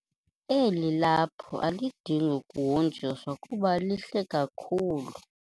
Eli laphu alidingi kuhonjiswa kuba lihle kakhulu.